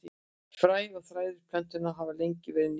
Fræ og þræðir plöntunnar hafa lengi verið nýtt.